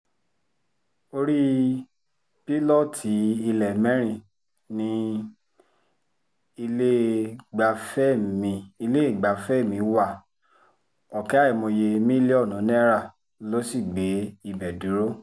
orí pílọ́ọ̀tì ilé mẹ́rin ní iléegbafẹ́ mi iléegbafẹ́ mi wá ọ̀kẹ́ àìmọye mílíọ̀nù náírà ló sì gbé ibẹ̀ dúró